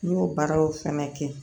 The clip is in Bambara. N y'o baaraw fɛnɛ kɛ